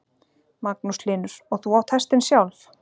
Magnús Hlynur: Og þú átt hestinn sjálf?